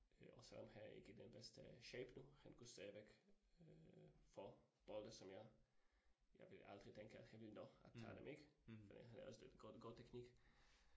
Øh og selvom han ikke den bedste shape nu, han kunne stadigvæk øh få bolde som jeg jeg ville aldrig tænke, han ville nå at tage dem ik fordi han laver sådan god god teknik